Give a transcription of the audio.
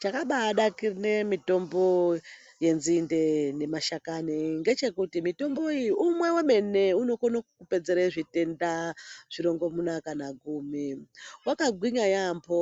Chakabanakire mitombo yenzinde nemashakani ngechekuti mitombo iyi umwe wemene unokone kukupedzere zvitenda zvirongomuna kana gumi. Wakagwinya yaambo